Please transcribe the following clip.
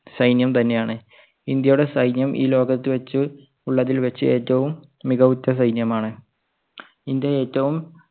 സൈന്യം തന്നെയാണ്. ഇന്ത്യയുടെ സൈന്യം ഈ ലോകത്ത് വെച്ച് ഉള്ളതിൽ വെച്ച് ഏറ്റവും മികവുറ്റ സൈന്യമാണ്.